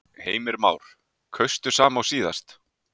Heimir Már: Kaustu sama og síðast?